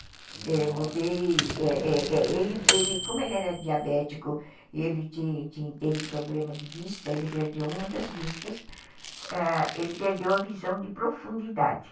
Mudei, é, é, é, mudei, como ele era diabético e ele teve problema de vista, ele perdeu uma das vistas, ele perdeu a visão de profundidade.